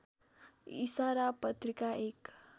इशारा पत्रिका एक